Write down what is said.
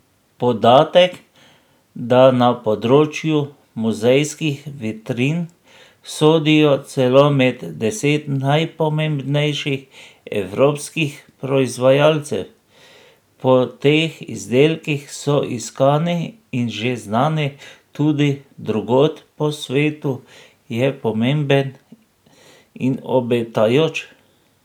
Podatek, da na področju muzejskih vitrin sodijo celo med deset najpomembnejših evropskih proizvajalcev, po teh izdelkih so iskani in že znani tudi drugod po svetu, je pomemben in obetajoč.